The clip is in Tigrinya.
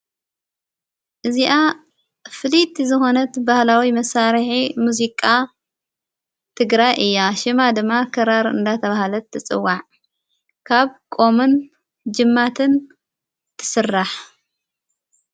እዚኣ ፍሊት ዝኾነት በሃላዊ መሣርሐ ሙዙቃ ትግራ እያ ሽማ ድማ ከራር እንዳ ተብሃለት ትጽዋዕ ካብ ቆ ኦምን ጅማትን ትሥራሕ።